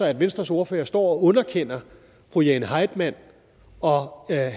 at venstres ordfører står og underkender fru jane heitmann og